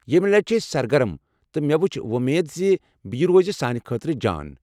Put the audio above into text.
یمہِ لٹہ چھ أسۍ سرگرم تہٕ مےٚ چھ وو٘مید ز یہ روزِ سانہِ خٲطرٕ جان ۔